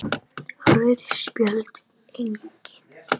Rauð Spjöld: Engin.